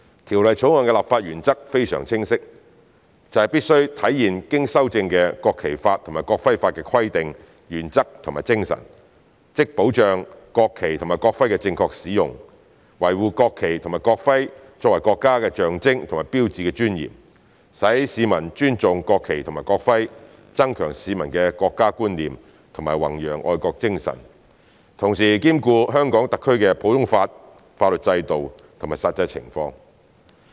《條例草案》的立法原則非常清晰，就是必須體現經修正的《國旗法》及《國徽法》的規定、原則和精神，即保障國旗及國徽的正確使用，維護國旗及國徽作為國家的象徵和標誌的尊嚴，使市民尊重國旗及國徽，增強市民的國家觀念和弘揚愛國精神，同時兼顧香港特區的普通法法律制度及實際情況。